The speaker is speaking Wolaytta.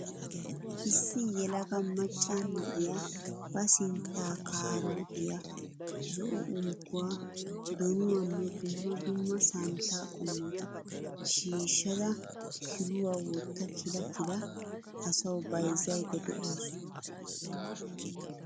Issi yelaga macca na'iyaa ba sintta kaarootiyaa, zo'o unkkuwaa donuwaanne dumma dumma santtaa qommota shiishshada kiluwa wotta kila kila asawu bayizayidda dawusu.